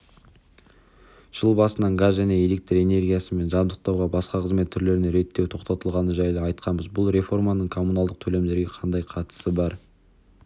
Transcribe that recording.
жыл басынан газ және электр энергиясымен жабдықтаудан басқа қызмет түрлеріне реттеу тоқтатылғаны жайлы айтқанбыз бұл реформаның коммуналдық төлемдерге қандай қатысы бар